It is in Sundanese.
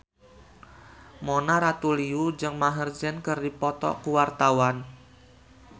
Mona Ratuliu jeung Maher Zein keur dipoto ku wartawan